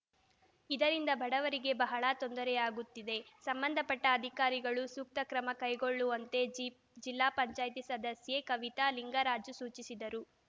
ಇದರಿಂದ ಬಡವರಿಗೆ ಬಹಳ ತೊಂದರೆಯಾಗುತ್ತಿದೆ ಸಂಬಂಧಪಟ್ಟಅಧಿಕಾರಿಗಳು ಸೂಕ್ತಕ್ರಮ ಕೈಗೊಳ್ಳುವಂತೆ ಜಿ ಜಿಲ್ಲಾ ಪಂಚಾಯತಿ ಸದಸ್ಯೆ ಕವಿತ ಲಿಂಗರಾಜು ಸೂಚಿಸಿದರು